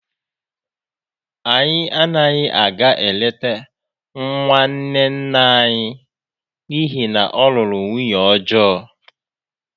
Anyị anaghị aga eleta nwanne nna anyị n’ihi na ọ lụrụ nwunye ọjọọ